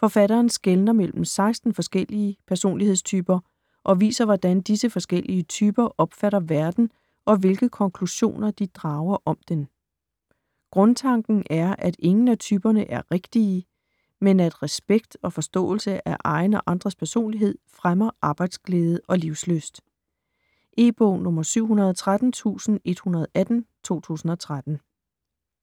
Forfatteren skelner mellem 16 forskellige personlighedstyper, og viser hvordan disse forskellige typer opfatter verden og hvilke konklusioner de drager om den. Grundtanken er at ingen af typerne er "rigtige", men at respekt og forståelse af egen og andres personlighed fremmer arbejdsglæde og livslyst. E-bog 713118 2013.